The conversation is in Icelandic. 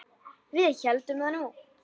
Við héldum það nú.